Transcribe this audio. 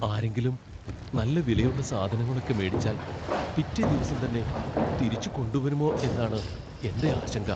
ആരെങ്കിലും നല്ല വിലയുള്ള സാധനങ്ങളൊക്കെ മേടിച്ചാൽ പിറ്റേദിവസം തന്നെ തിരിച്ച് കൊണ്ടുവരുമോ എന്നാണ് എൻ്റെ ആശങ്ക.